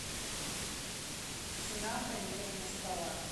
цена бронирования стола